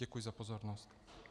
Děkuji za pozornost.